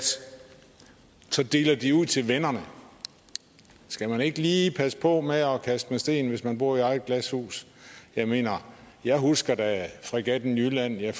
så deler de ud til vennerne skal man ikke lige passe på med at kaste med sten hvis man bor i eget glashus jeg mener jeg husker da fregatten jylland og jeg